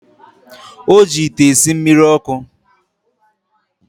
O ji ite esi mmiri ọkụ.